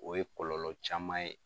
O ye kɔlɔlɔ caman ye.